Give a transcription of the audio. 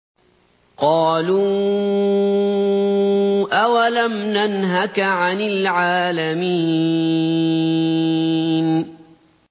قَالُوا أَوَلَمْ نَنْهَكَ عَنِ الْعَالَمِينَ